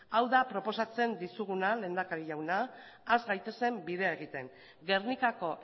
hau da proposatzen dizuguna lehendakari jauna has gaitezen bidea egiten gernikako